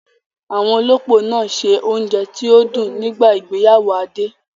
Àwọn olópò náà ṣe oúnjẹ tí ó dùn nígbà ìgbéyàwó Adé